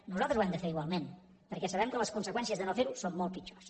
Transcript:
nosaltres ho hem de fer igualment perquè sabem que les conseqüències de no fer ho són molt pitjors